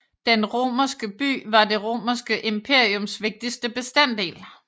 Den romerske by var det Romerske imperiums vigtigste bestanddel